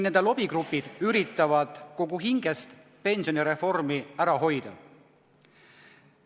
Nende lobigrupid püüavad kogu hingest pensionireformi ära hoida.